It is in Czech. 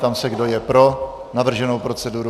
Ptám se, kdo je pro navrženou proceduru.